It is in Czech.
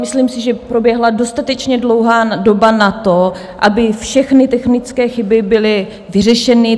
Myslím si, že proběhla dostatečně dlouhá doba na to, aby všechny technické chyby byly vyřešeny.